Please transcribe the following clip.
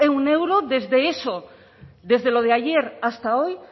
un euro desde eso desde lo de ayer hasta hoy